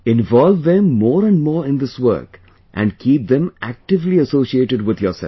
Involve them more and more in this work and keep them actively associated with yourself